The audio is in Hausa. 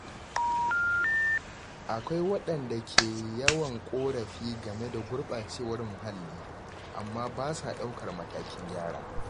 Akwai wadanda ke yawan korafi game da gurbacewar muhalli amma ba sa daukar matakin gyara.